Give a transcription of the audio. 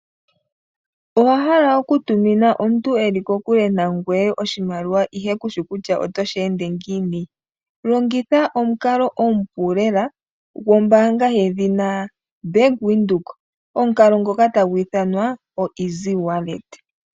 Owa hala okutumina omuntu e li kokule nangoye oshimaliwa ihe ku shi kutya oto shi ende ngiini? Longitha omukalo omupu lela gwombaanga yedhina Bank Windhoek, omukalo ngoka tagu ithanwa oeasy wallet.